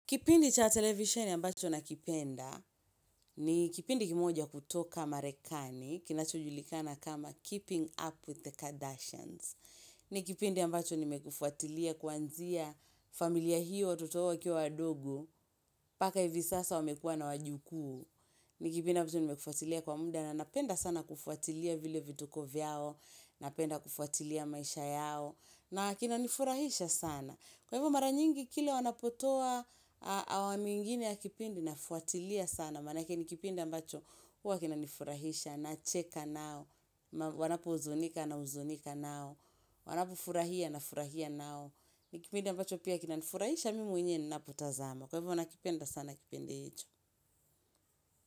Kipindi cha televisheni ambacho nakipenda, ni kipindi kimoja kutoka marekani, kinachojulikana kama keeping up with the Kardashians. Ni kipindi ambacho ni mekifuatilia kuanzia familia hiyo, watoto hao wakiwa wadogo, mbaka hivi sasa wamekuwa na wajukuu. Ni kipinda ambacho ni mekufuatilia kwa munda na napenda sana kufuatilia vile vituko vyao, napenda kufuatilia maisha yao. Na kina nifurahisha sana. Kwa hivyo mara nyingi kila wanapotoa awamu ingine ya kipindi na fuatilia sana. Manake nikipindi ambacho huwa kinani furahisha nacheka nao. Wanapo uzunika na uzunika nao. Wanapo furahia na furahia nao. Nikipindi ambacho pia kinanifurahisha mimi mwenyewe ni napotazama. Kwa hivyo nakipenda sana kipindi hicho.